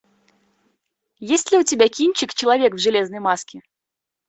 есть ли у тебя кинчик человек в железной маске